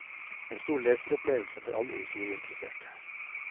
En stor leseropplevelse for alle historieinteresserte.